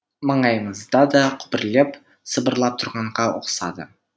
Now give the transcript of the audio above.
маңайымызда да күбірлеп сыбырлап тұрғанға ұқсады